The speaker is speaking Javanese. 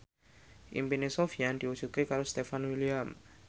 impine Sofyan diwujudke karo Stefan William